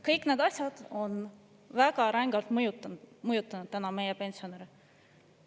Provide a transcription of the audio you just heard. Kõik need asjad on väga rängalt mõjutanud täna meie pensionäre.